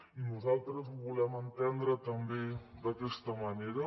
i nosaltres ho volem entendre també d’aquesta manera